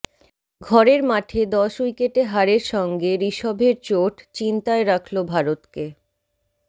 ঘরের মাঠে দশ উইকেটে হারের সঙ্গে ঋষভের চোট চিন্তায় রাখল ভারতকে